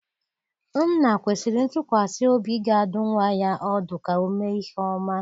Nna kwesịrị ntụkwasị obi ga-adụ nwa ya ọdụ ka o mee ihe ọma.